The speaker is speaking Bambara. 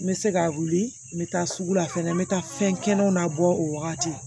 N bɛ se ka wuli n bɛ taa sugu la fɛnɛ n bɛ taa fɛn kɛnɛw na bɔ o wagati